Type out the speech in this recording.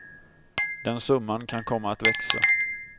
Den summan kan komma att växa.